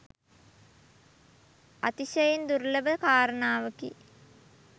අතිශයින් දුර්ලභ කාරණාවකි.